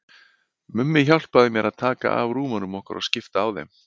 Mummi hjálpaði mér að taka af rúmunum okkar og skipta á þeim.